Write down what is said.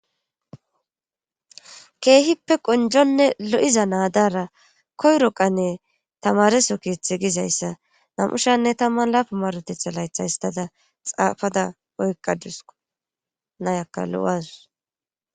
Keehippe qonjonne lo'iza naadara koyroqanne tamareso keeththe gizayssa nam'ushanne tamman laafa marotetha laytha histada xaafada oykqa dusku nayakka lo'as.